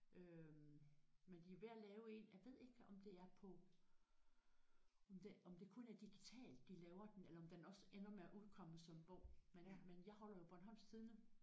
Øh men de er jo ved at lave en jeg ved ikke om det er på om det om det kun er digitalt de laver den eller om den også ender med at udkomme som bog men men jeg holder jo Bornholmsk Tidende